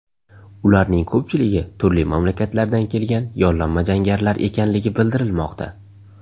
Ularning ko‘pchiligi turli mamlakatlardan kelgan yollanma jangarilar ekanligi bildirilmoqda.